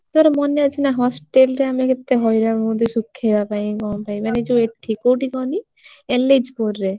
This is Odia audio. ତୋର ମନେ ଅଛି ନା hostel ରେ ଆମେ କେତେ ହଇରାଣ ହୁଅନ୍ତି ହଉ ଶୁଖେଇବା ପାଇଁ କଣ ପାଇଁ ମାନେ ଯଉ ଏଠି କୋଉଠି କହନି ଏଲେଚପୁର ରେ।